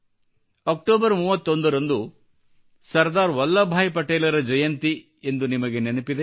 October 31 ರಂದು ಸರ್ದಾರ್ ವಲ್ಲಭ್ ಭಾಯ್ ಪಟೇಲರ ಜಯಂತಿ ಎಂದು ನಿಮಗೆ ನೆನಪಿದೆ